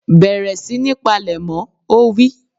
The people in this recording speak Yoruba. Bẹ̀rẹ̀ sí ní palẹ̀mọ́! Ó wí.